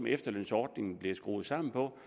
efterlønsordningen blev skruet sammen på